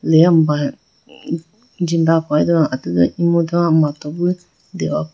Deyapuma jindepo atudu emudu mato bo dehopo.